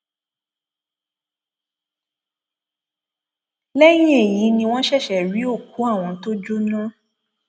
lẹyìn èyí ni wọn ṣẹṣẹ rí òkú àwọn tó jóná